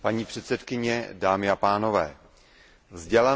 Vzdělanost je určitě naším prioritním cílem.